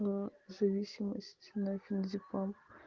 ээ зависимость на феназепам